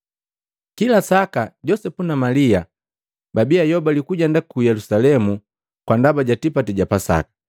Kila saka, Josepu na Malia babii ayobali kujenda ku Yelusalemu kwa ndaba ja tipati ja Pasaka,